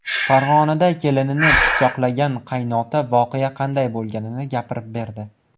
Farg‘onada kelinini pichoqlagan qaynota voqea qanday bo‘lganini gapirib berdi .